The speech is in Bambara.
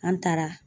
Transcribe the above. An taara